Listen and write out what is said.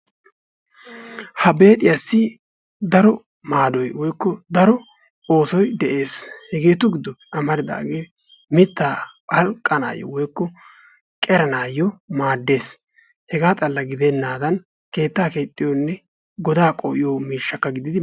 Ha beexiyassi daro maadoy woyiykko daro oosoy dees, hegettu gidoppe amaridaage mittaa palqqanaayoo woyikko qeranayoo maades hegaa xalla gidenaadan keettaa keexiyonne. woykko godaa paliqqiyo miishsha gididdi.